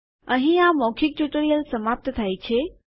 અહીં આ મૌખિક ટ્યુટોરીયલ સમાપ્ત થાય છે